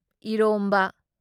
ꯢꯔꯣꯝꯕ